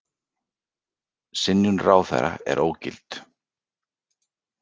Synjun ráðherra ógilt